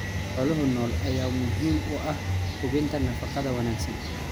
Xoolaha nool ayaa muhiim u ah hubinta nafaqada wanaagsan.